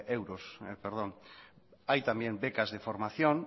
euros hay también becas de formación